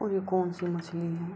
और ये कौन-सी मछली है।